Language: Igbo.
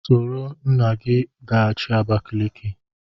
Soro nna gị gaghachi Abakaliki!